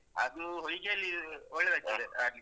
ಅದೂ ಹೊಯ್ಗೆಯಲ್ಲಿ ಒಳ್ಳೆದಾಗ್ತದೆ ಆಡ್ಲಿಕ್ಕೆ.